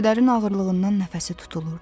Kədərin ağırlığından nəfəsi tutulurdu.